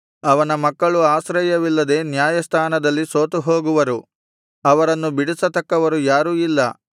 ಅವನ ಮಕ್ಕಳು ಆಶ್ರಯವಿಲ್ಲದೆ ನ್ಯಾಯಸ್ಥಾನದಲ್ಲಿ ಸೋತುಹೋಗುವರು ಅವರನ್ನು ಬಿಡಿಸತಕ್ಕವರು ಯಾರೂ ಇಲ್ಲ